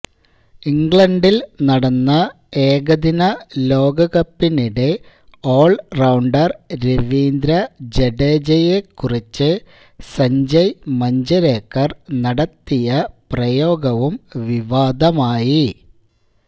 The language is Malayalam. ഇംഗ്ലണ്ടില് നടന്ന ഏകദിന ലോകകപ്പിനിടെ ഓള്റൌണ്ടര് രവീന്ദ്ര ജഡേജയെ കുറിച്ച് സഞ്ജയ് മഞ്ജരേക്കര് നടത്തിയ പ്രയോഗവും വിവാദമായി